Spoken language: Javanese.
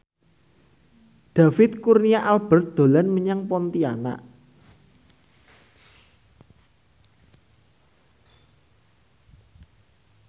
David Kurnia Albert dolan menyang Pontianak